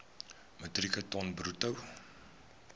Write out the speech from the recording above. metrieke ton bruto